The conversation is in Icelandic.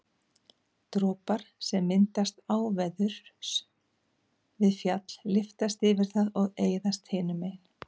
dropar sem myndast áveðurs við fjall lyftast yfir það og eyðast hinu megin